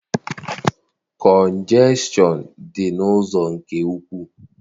Kọnjekshọn dị n'ụzọ nke ukwu.